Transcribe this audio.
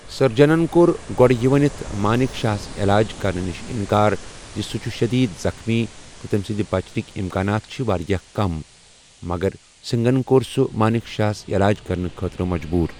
سٔرجَنن کوٚر گۄڈٕ یہِ ؤنِتھ مانیک شاہس علاج کرنہٕ نِش اِنکار زِ سُہ چُھ شٔدیٖد زخمی تہٕ تٔمہِ سٕنٛدِ بچنٕکہ اِمکانات چھِ واریاہ کم، مگر سِنٛگن کوٚر سُہ مانِک شاہس یلاج کرنہٕ خٲطرٕ مجبوٗر۔